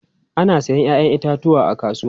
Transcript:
Ana sayen 'ya'yan itatuwa a kasuwa.